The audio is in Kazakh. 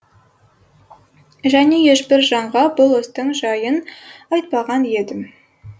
және ешбір жанға бұл істің жайын айтпаған едім